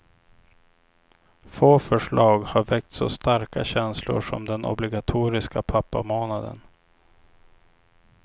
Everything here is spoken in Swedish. Få förslag har väckt så starka känslor som den obligatoriska pappamånaden.